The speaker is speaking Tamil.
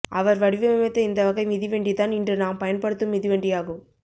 அவர் வடிவமைத்த இந்த வகை மிதிவன்டிதான் இன்று நாம் பயன்படுத்தும் மிதிவண்டியாகும்